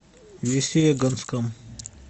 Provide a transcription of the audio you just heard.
весьегонском